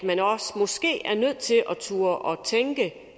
turde tænke